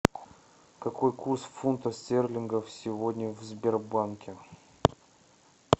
какой курс фунтов стерлингов сегодня в сбербанке